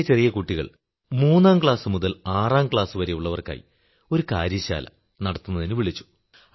ചെറിയ ചെറിയ കുട്ടികൾ മൂന്നാം ക്ലാസു മുതൽ ആറാം ക്ലാസുവരെയുള്ളവർക്കായി ഒരു ശിൽപ്പശാല നടത്തുന്നതിനു വിളിച്ചു